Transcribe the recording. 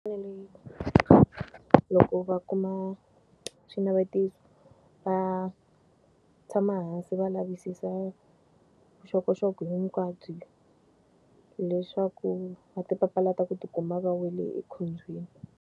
loko va kuma xinavetiso va tshama hansi va lavisisa vuxokoxoko hinkwabyo leswaku va ti papalata ku ti kuma va wele ekhombyeni.